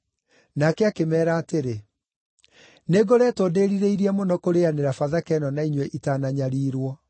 Nake akĩmeera atĩrĩ, “Nĩngoretwo ndĩĩrirĩirie mũno kũrĩanĩra Bathaka ĩno na inyuĩ itananyariirwo.